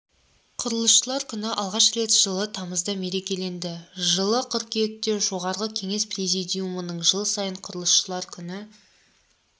құрылысшылар күні алғаш рет жылы тамызда мерекеленді жылы қыркүйекте жоғарғы кеңес президиумының жыл сайын құрылысшылар күні